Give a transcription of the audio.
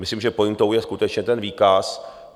Myslím, že pointou je skutečně ten výkaz.